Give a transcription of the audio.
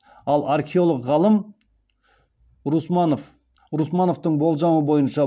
ал археолог ғалым русмановтың болжамы бойынша